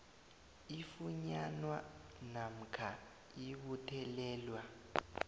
ifunyanwa namkha ibuthelelwa